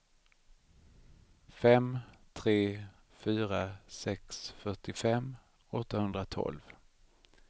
fem tre fyra sex fyrtiofem åttahundratolv